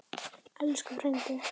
Elsku frændi.